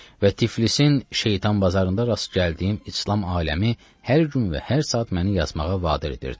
Və Tiflisin şeytan bazarında rast gəldiyim İslam aləmi hər gün və hər saat məni yazmağa vadir edirdi.